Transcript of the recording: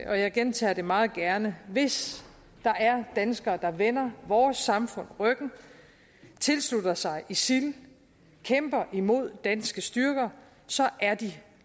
jeg gentager det meget gerne hvis der er danskere der vender vores samfund ryggen tilslutter sig isil kæmper imod danske styrker så er de